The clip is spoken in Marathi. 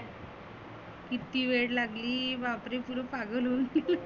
किती वेड लेगली पुरं पागल होऊन